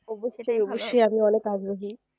আমি অনেক আগ্রহী